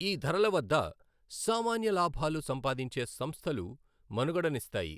ఈ ధరల వద్ద సామాన్య లాభాలు సంపాదించే సంస్థలు మనుగడనిస్తాయి.